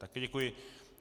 Taky děkuji.